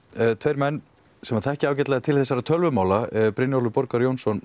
tveir menn sem þekkja vel til þessara mála Brynjólfur borgar Jónsson